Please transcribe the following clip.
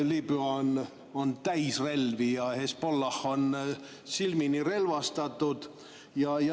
Liibüa on täis relvi ja Hezbollah on silmini relvastatud.